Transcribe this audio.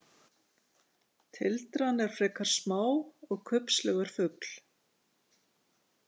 Tildran er frekar smá og kubbslegur fugl.